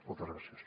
moltes gràcies